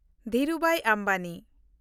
Dhirubhai Ambani